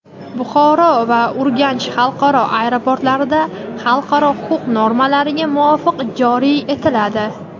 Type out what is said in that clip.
"Buxoro" va "Urganch" xalqaro aeroportlarida xalqaro huquq normalariga muvofiq joriy etiladi;.